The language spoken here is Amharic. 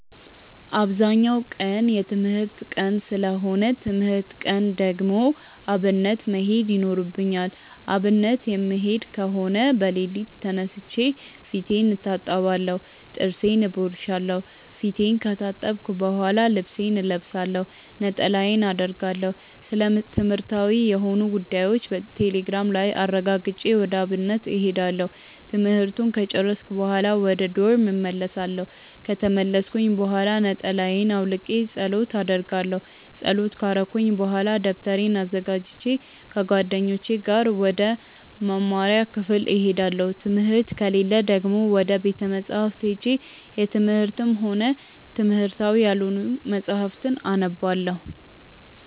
አብዛኛው ቀን የትምህርት ቀን ሰለሆነ ትምህርት ቀን ከሆነ ደግሞ አብነት መሄድ ይኖርብኛል። አብነት የምሄድ ከሆነ በለሊቱ ተነስቼ ፊቴን እታጠባለሁ ጥርሴን እቦርሻለው። ፊቴን ከታጠብኩ በሆላ ልብሴን እለብሳለሁ፣ ነጠላዬን አረጋለሁ፣ ስለትምህርትዊ የሆኑ ጉዳዮችን ቴሌግራም ላይ አረጋግጬ ወደ አብነት እሄዳለሁ። ትምህርቱን ከጨርስኩኝ በሆላ ወደ ዶርም እመልሳለው። ከተመለስኩኝ ብሆላ ነጠላየን አውልቄ ፀሎት አረጋለው። ፀሎት ከረኩኝ በሆላ ደብተሬን አዘጋጅቼ ከጓደኞቼ ጋር ወደ መምሪያ ክፍል እሄዳለው። ትምህርት ከሌለ ደግሞ ወደ ቤተ መፅሀፍት ሄጄ የትምህርትም ሆነ የትምህርታዊ ያልሆኑ መፅሀፍትን አነባለው።